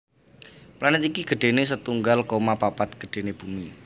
Planet iki gedhené setunggal koma papat gedhené Bumi